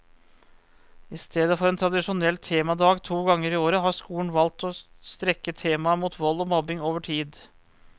I stedet for en tradisjonell temadag to ganger i året, har skolen valgt å strekke temaet mot vold og mobbing over tid.